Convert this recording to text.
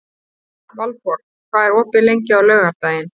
Valborg, hvað er opið lengi á laugardaginn?